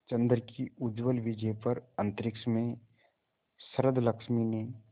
चंद्र की उज्ज्वल विजय पर अंतरिक्ष में शरदलक्ष्मी ने